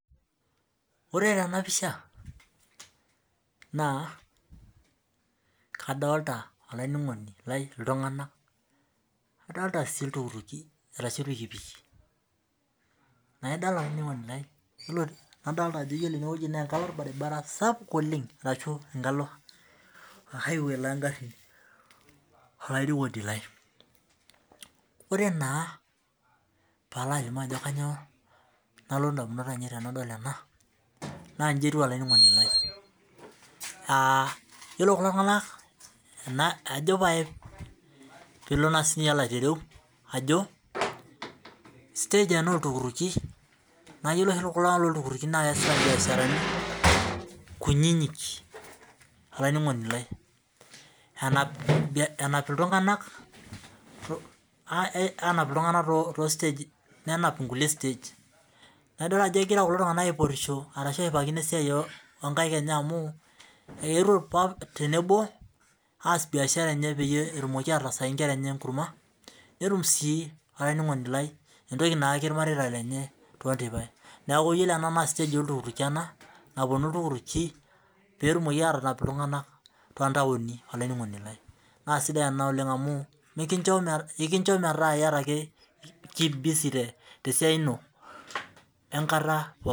Ore tenapisha na kadolita olaininingoni lai adolita si irpikipiki naidol olaininingoni lai ajo ore enewueji na enkalo orbaribara sapuk oleng ashubenkalo o highway longarin olaininingoni lai ore naa palo alimu ajo kanyio nalotu ndamunot ainei tanadol ena na nji etiu olaininingoni lai aa yiolo kulo tunganak ajo naa stage ena oltukutuki na ore kulo tunganak loltukutuki na keas biashara kunyinyik olaininingoni lai enapa ltunganak tostagi anap inkulie stegi na idol ajo egira kulo tunganak ashipakino esiai enye eetuo tenebo aas biashara tenebo petum naa entoki nayaku irmareita lenye neaku iyilo ena na stage oltukutuki petumoki atanap ltunganak na sidai ena amu ekincho metaa ira busy tesiai ino wenkata